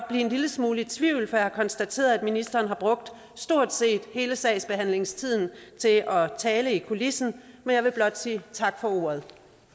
blive en lille smule i tvivl for jeg har konstateret at ministeren har brugt stort set hele sagsbehandlingstiden til at tale i kulissen men jeg vil blot sige tak for ordet